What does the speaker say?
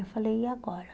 Eu falei, e agora?